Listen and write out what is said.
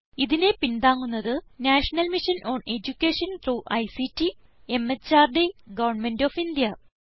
ഇതിനെ പിന്താങ്ങുന്നത് national mission on education through ICT MHRD government of India